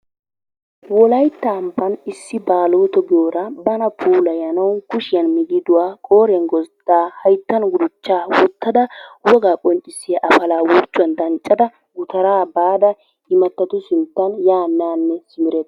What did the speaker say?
Wolayttan issi baaloto giyoora bana puulayanawu ba kushshiyaan migiduwaa qooriyaan gozddaa hayttan guduchchaa woottada wogaa qonccisiyaa apalaa huuphiyaan danccada gutaraa baada imattatu sinttan yaane haane simeretawusu.